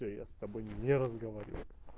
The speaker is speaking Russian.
то я с тобой не разговариваю